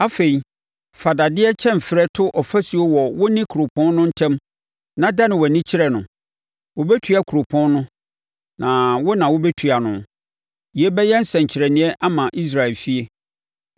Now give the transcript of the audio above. Afei, fa dadeɛ kyɛmferɛ to ɔfasuo wɔ wo ne kuropɔn no ntam na dane wʼani kyerɛ no. Wɔbɛtua kuropɔn no, na wo na wobɛtua no. Yei bɛyɛ nsɛnkyerɛnneɛ ama Israel efie.